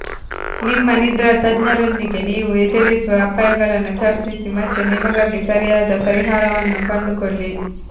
ನಿಮ್ಮ ನಿದ್ರಾ ತಜ್ಞರೊಂದಿಗೆ ನೀವು ಎದುರಿಸುವ ಅಪಾಯಗಳನ್ನು ಚರ್ಚಿಸಿ ಮತ್ತು ನಿಮಗಾಗಿ ಸರಿಯಾದ ಪರಿಹಾರವನ್ನು ಕಂಡುಕೊಳ್ಳಿ